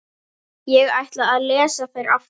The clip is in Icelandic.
Ég ætla að lesa þær aftur.